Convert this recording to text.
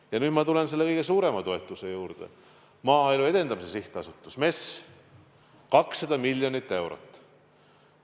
Ja nüüd ma tulen selle kõige suurema toetuse juurde, Maaelu Edendamise Sihtasutuse, MES-i toetuse juurde, mis on 200 miljonit eurot.